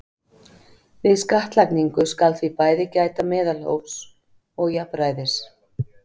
Við skattlagningu skal því bæði gæta meðalhófs og jafnræðis.